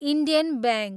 Indian bank